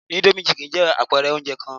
Indomie chicken jẹ́ àpẹ̀ẹrẹ oúnjẹ kan